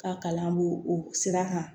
Ka kalan bo o sira kan